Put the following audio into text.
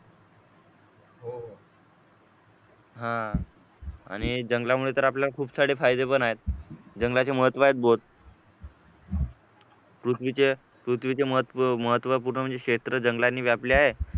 हा आणि हे जंगलामुळे तर आपल्याला खूप सारे फायदे पण आहेत जंगलाचे महत्त्व आहेत बहुत पृथ्वीचे पृथ्वीचे महत्त्वपूर्ण महत्वपूर्ण क्षेत्र म्हणजे जंगलाने व्यापले आहे